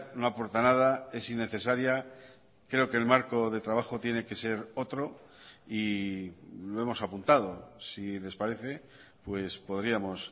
no aporta nada es innecesaria creo que el marco de trabajo tiene que ser otro y lo hemos apuntado si les parece podríamos